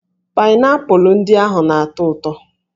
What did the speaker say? Paịnaịpụlụ ndị ahụ na-atọ ụtọ